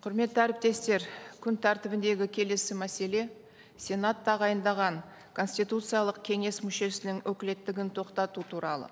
құрметті әріптестер күн тәртібіндегі келесі мәселе сенат тағайындаған конституциялық кеңес мүшесінің өкілеттігін тоқтату туралы